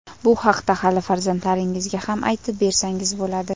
Bu haqda hali farzandlaringizga ham aytib bersangiz bo‘ladi.